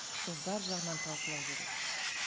сол бар жағынан талқылау керек